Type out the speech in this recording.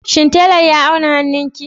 Shin tailar ya auna hannunki?